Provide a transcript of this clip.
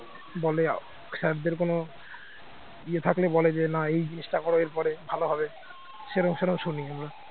sir দের কোন ইয়ে থাকলে বলে যে না এই জিনিসটা করো এরপরে ভালো হবে সেরাম সেরাম শুনি আমরা